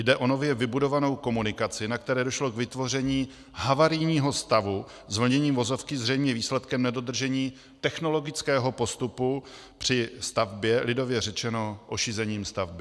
Jde o nově vybudovanou komunikaci, na které došlo k vytvoření havarijního stavu zvlněním vozovky zřejmě výsledkem nedodržení technologického postupu při stavbě - lidově řečeno ošizením stavby.